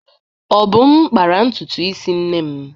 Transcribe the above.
Obum kpara ntutu isi nne m.